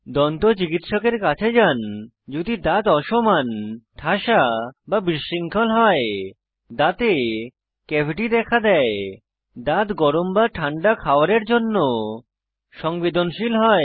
দন্ত চিকিৎসকের কাছে যান যদি দাঁত অসমান ঠাসা বা বিশৃঙ্খল হয় দাঁতে ক্যাভিটি দেখা দেয় দাঁত গরম এবং ঠান্ডা খাওয়ারের জন্য সংবেদনশীল হয়